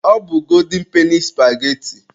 Ọ bụ golden peni supageti.